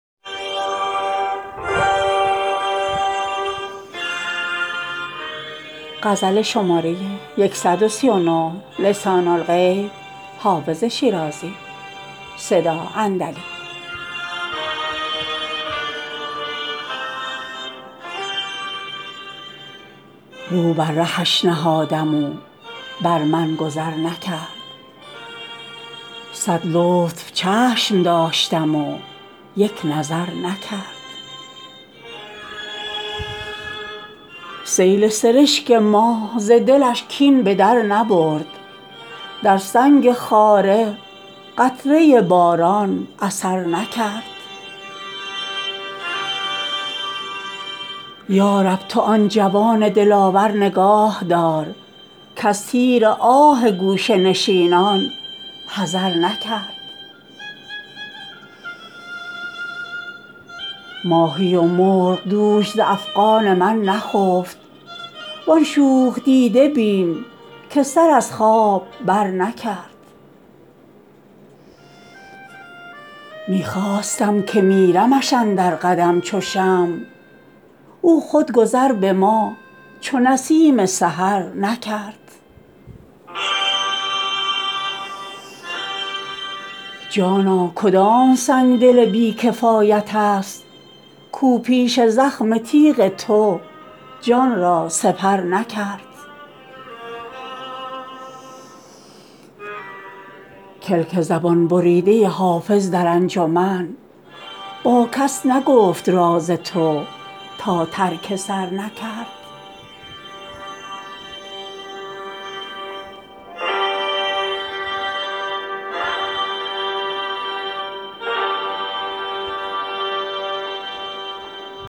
رو بر رهش نهادم و بر من گذر نکرد صد لطف چشم داشتم و یک نظر نکرد سیل سرشک ما ز دلش کین به در نبرد در سنگ خاره قطره باران اثر نکرد یا رب تو آن جوان دلاور نگاه دار کز تیر آه گوشه نشینان حذر نکرد ماهی و مرغ دوش ز افغان من نخفت وان شوخ دیده بین که سر از خواب برنکرد می خواستم که میرمش اندر قدم چو شمع او خود گذر به ما چو نسیم سحر نکرد جانا کدام سنگدل بی کفایت است کاو پیش زخم تیغ تو جان را سپر نکرد کلک زبان بریده حافظ در انجمن با کس نگفت راز تو تا ترک سر نکرد